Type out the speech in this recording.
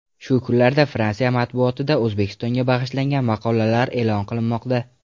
Shu kunlarda Fransiya matbuotida O‘zbekistonga bag‘ishlangan maqolalar e’lon qilinmoqda.